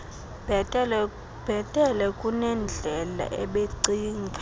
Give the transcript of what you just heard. bhetele kunendlela ebecinga